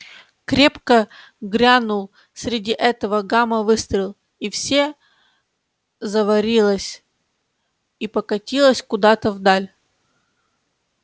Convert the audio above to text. крепко грянул среди этого гама выстрел и всё заварилось и покатилось куда-то вдаль